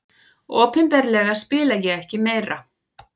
Opinberlega spila ég ekki meira.